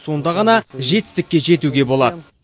сонда ғана жетістікке жетуге болады